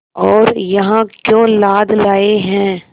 और यहाँ क्यों लाद लाए हैं